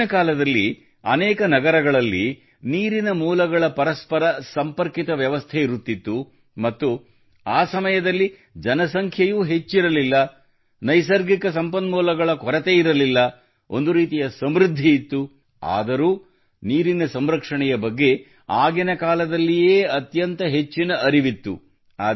ಪ್ರಾಚೀನ ಕಾಲದಲ್ಲಿ ಅನೇಕ ನಗರಗಳಲ್ಲಿ ನೀರಿನ ಮೂಲಗಳ ಪರಸ್ಪರ ಸಂಪರ್ಕಿತ ವ್ಯವಸ್ಥೆ ಇರುತ್ತಿತ್ತು ಮತ್ತು ಆ ಸಮಯದಲ್ಲಿ ಜನಸಂಖ್ಯೆಯು ಹೆಚ್ಚಿರಲಿಲ್ಲ ನೈಸರ್ಗಿಕ ಸಂಪನ್ಮೂಲಗಳ ಕೊರತೆಯಿರಲಿಲ್ಲ ಒಂದು ರೀತಿಯ ಸಮೃದ್ಧಿ ಇತ್ತು ಆದರೂ ನೀರಿನ ಸಂರಕ್ಷಣೆಯ ಬಗ್ಗೆ ಆಗಿನ ಕಾಲದಲ್ಲಿಯೇ ಅತ್ಯಂತ ಹೆಚ್ಚಿನ ಅರಿವಿತ್ತು